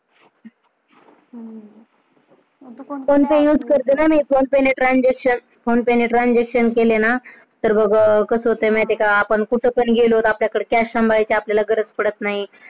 हम्म कोणताही वापरते ना phone pe transaction केले ना कि बघ कस होत माहितीये का? आपण कुठं पण गेलो तर आपल्याला कडे cash सांभाळायची आपल्याला गरज पडत नाही.